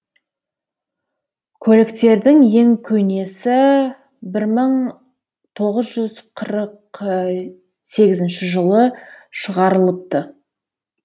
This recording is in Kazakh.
көліктердің ең көнесі бір мың тоғыз жүз қырық сегізінші жылы шығарылыпты